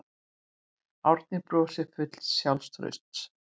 Árný brosir full sjálfstrausts.